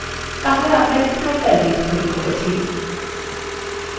আমরা একটি hyperlink তৈরী করেছি!